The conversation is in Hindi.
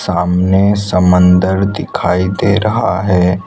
सामने समंदर दिखाई दे रहा है।